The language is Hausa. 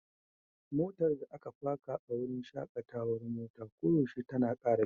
Motar da aka faka a wurin shakatawar mota koyaushe tana ƙara caji.